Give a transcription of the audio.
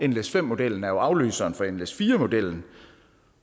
nles5 modellen er jo afløseren for nles4 modellen